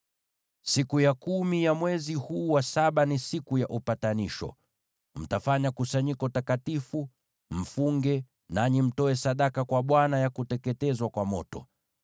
“Siku ya kumi ya mwezi huu wa saba ni Siku ya Upatanisho. Mtafanya kusanyiko takatifu, mfunge, nanyi mtoe sadaka kwa Bwana ya kuteketezwa kwa moto.